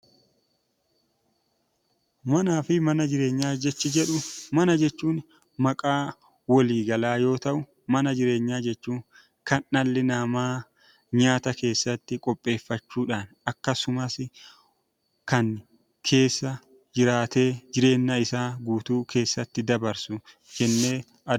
Manaa fi mana jireenyaa jechi jedhu: Mana jechuun maqaa walii galaa yoo ta'u; Mana jireenyaa jechuun kan dhalli namaa nyaata keessatti qopheeffachuu dhaan, akkasumas kan keessa jiraatee jireenya isaa guutuu keessatti dabarsu jennee...